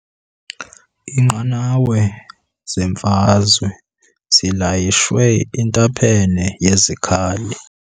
Iinqanawa zemfazwe zilayishwe intaphane yezikhali.